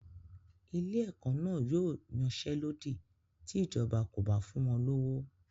Ilé-ẹ̀kọ́ náà yóò yansẹ́lódì ti ìjọba kò bá fún wọn lówó.